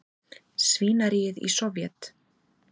svínaríið í Sovét.